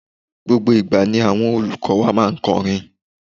Gbogbo ìgbà ni àwọn olùkó wa máa n korin